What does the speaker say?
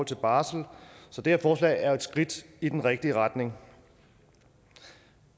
til barsel så det her forslag er jo et skridt i den rigtige retning